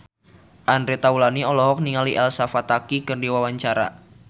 Andre Taulany olohok ningali Elsa Pataky keur diwawancara